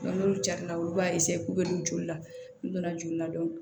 n'olu jara olu b'a k'u bɛ don joli la n'u donna joli la